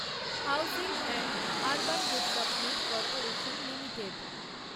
housing and urban development corporation limited